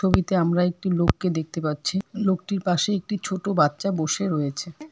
ছবিতে আমরা একটি লোককে দেখতে পাচ্ছি লোকটির পাশে একটি ছোটো বাচ্চা বসে রয়েছে।